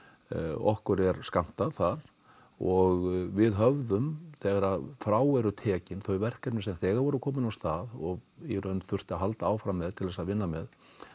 okkur er skammtað þar og við höfðum þegar frá eru tekin þau verkefni sem þegar voru komin af stað og í raun þurfti að halda áfram með til þess að vinna með